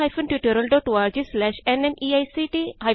ਇਹ ਸਕ੍ਰਿਪਟ ਦਾ ਯੋਗਦਾਨ ਦੇਸੀ ਕ੍ਰਿਊ ਸੋਲੂਸ਼ਨਜ਼ ਪੀਵੀਟੀ